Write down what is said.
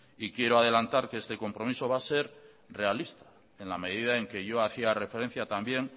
y quiero adelantar que este compromiso va a ser realista en la medida en que yo hacía referencia también